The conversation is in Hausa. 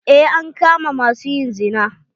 Eh, an kama ma su yin zina.